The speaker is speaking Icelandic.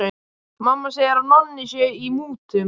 Mamma segir að Nonni sé í mútum.